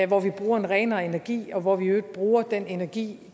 hvor vi bruger en renere energi og hvor vi i øvrigt bruger den energi